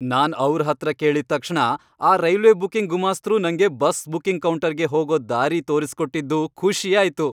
ನಾನ್ ಅವ್ರ್ ಹತ್ರ ಕೇಳಿದ್ ತಕ್ಷಣ ಆ ರೈಲ್ವೆ ಬುಕಿಂಗ್ ಗುಮಾಸ್ತ್ರು ನಂಗೆ ಬಸ್ ಬುಕಿಂಗ್ ಕೌಂಟರ್ಗೇ ಹೋಗೋ ದಾರಿ ತೋರ್ಸ್ಕೊಟ್ಟಿದ್ದು ಖುಷಿ ಆಯ್ತು.